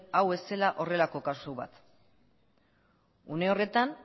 hau ez zela horrelako kasu bat une horretan